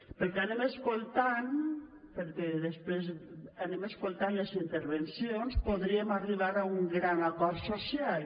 pel que anem escoltant perquè després anem escoltant les intervencions podríem arribar a un gran acord social